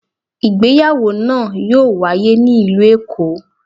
ìgbéyàwò naa yoo waye ni ilu Eko.